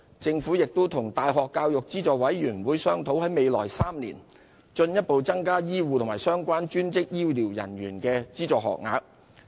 政府亦與大學教育資助委員會商討，在未來3年進一步增加醫護和相關專職醫療人員的資助學額。